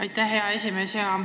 Aitäh, hea esimees!